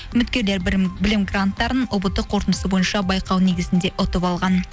үміткерлер білім гранттарын ұбт қорытындысы бойынша байқау негізінде ұтып алған